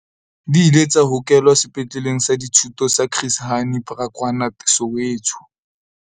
Di ile tsa hokelwa Sepetleleng sa Dithuto sa Chris Hani Baragwanath Soweto.